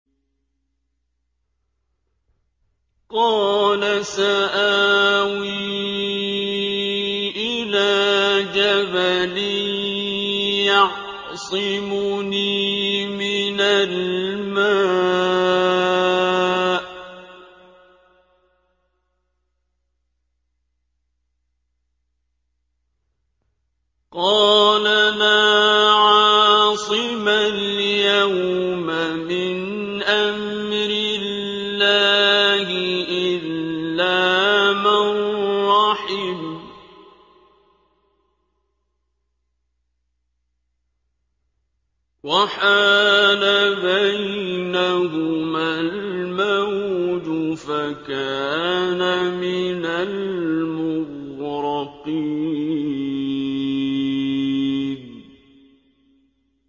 قَالَ سَآوِي إِلَىٰ جَبَلٍ يَعْصِمُنِي مِنَ الْمَاءِ ۚ قَالَ لَا عَاصِمَ الْيَوْمَ مِنْ أَمْرِ اللَّهِ إِلَّا مَن رَّحِمَ ۚ وَحَالَ بَيْنَهُمَا الْمَوْجُ فَكَانَ مِنَ الْمُغْرَقِينَ